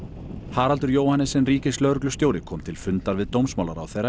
Haraldur Johannessen ríkislögreglustjóri kom til fundar við dómsmálaráðherra